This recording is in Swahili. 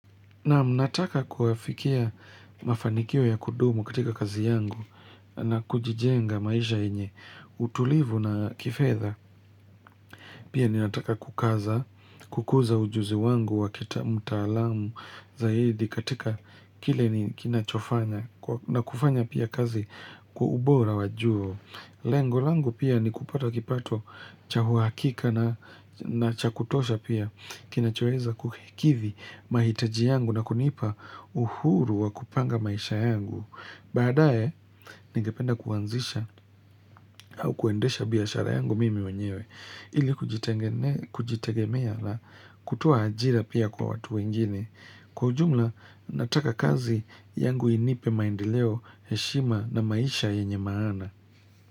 Naam nataka kuafikia mafanikio ya kudumu katika kazi yangu na kujijenga maisha yenye, utulivu na kifedha. Pia ninataka kukaza, kukuza ujuzi wangu wa kita mtaalam zaidi katika kile ni kinachofanya na kufanya pia kazi kwa ubora wa juu. Lengo langu pia ni kupata kipato cha uhakika na na cha kutosha pia kinachoweza kuhikithi mahitaji yangu na kunipa uhuru wa kupanga maisha yangu. Baadaye, nigependa kuanzisha au kuendesha biashara yangu mimi wenyewe. Ili kujitengene kujitegemea na kutoa ajira pia kwa watu wengine. Kwa ujumla, nataka kazi yangu inipe maendeleo, heshima na maisha yenye maana.